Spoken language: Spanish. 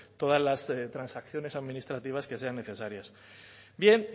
todas las transacciones administrativas que sean necesarias bien